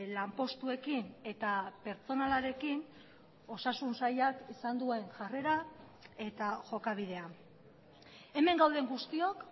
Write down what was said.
lanpostuekin eta pertsonalarekin osasun sailak izan duen jarrera eta jokabidea hemen gauden guztiok